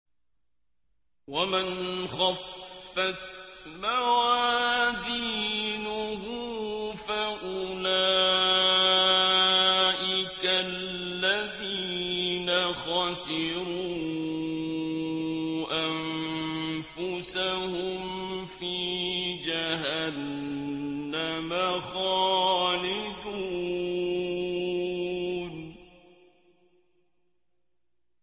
وَمَنْ خَفَّتْ مَوَازِينُهُ فَأُولَٰئِكَ الَّذِينَ خَسِرُوا أَنفُسَهُمْ فِي جَهَنَّمَ خَالِدُونَ